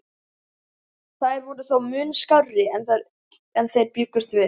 Þær voru þó mun skárri en þeir bjuggust við.